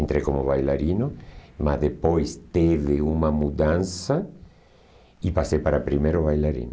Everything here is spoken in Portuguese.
Entrei como bailarino, mas depois teve uma mudança e passei para primeiro bailarino.